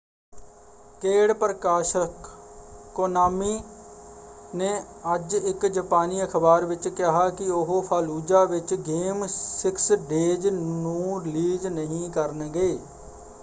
ਕੇਡ ਪ੍ਰਕਾਸ਼ਕ ਕੋਨਾਮੀ ਨੇ ਅੱਜ ਇੱਕ ਜਪਾਨੀ ਅਖ਼ਬਾਰ ਵਿੱਚ ਕਿਹਾ ਕਿ ਉਹ ਫ਼ਾਲੁਜਾ ਵਿੱਚ ਗੇਮ ਸਿਕਸ ਡੇਜ਼ ਨੂੰ ਰਿਲੀਜ਼ ਨਹੀਂ ਕਰਨਗੇ।